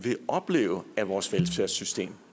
opleve at vores velfærdssystem